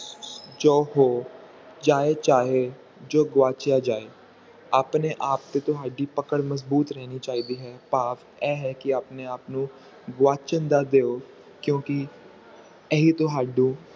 ਚਾਉ ਹੋ ਚਾਹੇ ਚਾਹੇ ਜੋ ਗਵਾਚਿਆ ਜਾਇ- ਆਪਣੇ ਆਪ ਤੇ ਤੁਹਾਡੀ ਪਕੜ ਮਜਬੂਤ ਰਹਿੰਦੀ ਚਾਹੀਦੀ ਹੈ ਭਾਵ ਇਹ ਹੈ ਕਿ ਆਪਣੇ ਆਪ ਨੂੰ ਗਵਾਚਣ ਨਾ ਦਿਓ ਕਿਉਂਕਿ ਇਹੀ ਤੁਹਾਡੀ